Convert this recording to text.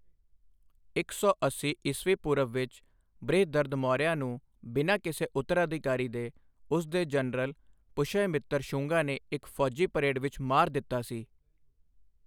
ਇੱਕ ਸੌ ਅੱਸੀ ਈ. ਪੂ. ਵਿੱਚ, ਬ੍ਰਿਹਦਰਥ ਮੌਰਿਆ ਨੂੰ ਬਿਨਾਂ ਕਿਸੇ ਉੱਤਰਾਧਿਕਾਰੀ ਦੇ ਉਸ ਦੇ ਜਨਰਲ ਪੁਸ਼ਯਮਿੱਤਰ ਸ਼ੁੰਗਾ ਨੇ ਇੱਕ ਫੌਜੀ ਪਰੇਡ ਵਿੱਚ ਮਾਰ ਦਿੱਤਾ ਸੀ।